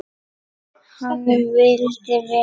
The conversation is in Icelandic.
Hann vildi vel.